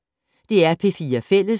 DR P4 Fælles